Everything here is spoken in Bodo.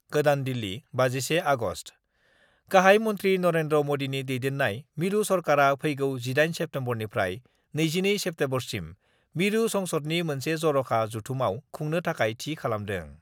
गोदान दिल्ली, 31 आगस्ट: गाहाइ मन्थ्रि नरेन्द्र मदिनि दैदेन्नाय मिरु सरकारआ फैगौ 18 सेप्तेम्बरनिफ्राय 22 सेप्तेम्बरसिम मिरु संसदनि मोनसे जर'खा जथुमाव खुंनो थाखाय थि खालामदों।